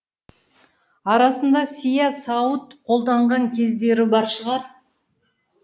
арасында сия сауыт қолданған кездері бар шығар